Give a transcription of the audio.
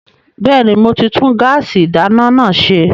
Bẹ́ẹ̀ni, mo ti tún gáàsì ìdáná náà ṣe